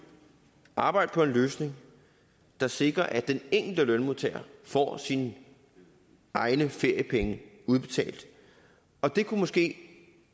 og arbejde på en løsning der sikrer at den enkelte lønmodtager får sine egne feriepenge udbetalt og det kunne måske